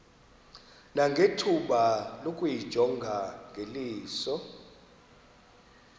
nangethuba lokuyijonga ngeliso